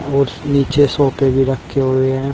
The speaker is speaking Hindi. और नीचे सोफे भी रखे हुए हैं।